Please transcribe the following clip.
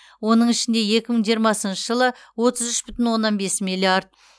оның ішінде екі мың жиырмасыншы жылы отыз үш бүтін онанн бес миллиард